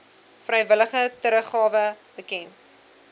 vrywillige teruggawe bekend